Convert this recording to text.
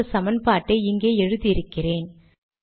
அந்த சமன்பாட்டை இங்கே எழுதி இருக்கிறேன்